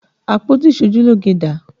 Àpótí iṣojúlógé dà?